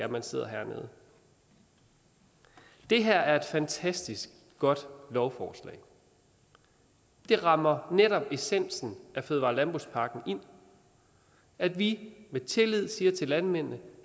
man sidder her det her er et fantastisk godt lovforslag det rammer netop essensen af fødevare og landbrugspakken ind at vi med tillid siger til landmændene